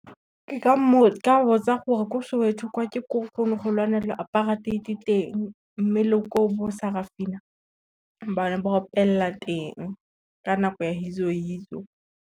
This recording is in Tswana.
Ke ka botsa gore ko Soweto kwa ke ko ko go ne go lwanelwa apartheid teng mme le ko bo Sarafina, ba ne ba opelela teng ka nako ya Yizo Yizo.